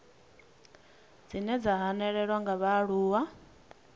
dzine dza hanelelwa nga vhaaluwa